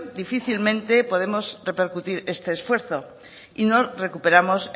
difícilmente podremos repercutir este esfuerzo y no recuperamos